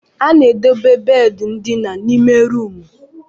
A na-edobe bedi ndina n'ime ruumu.